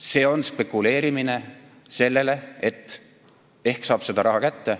See on spekuleerimine selles mõttes, et loodetakse, ehk saab selle raha kätte.